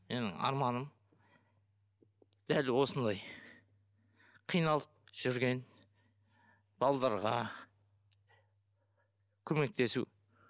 менің арманым дәл осындай қиналып жүрген балаларға көмектесу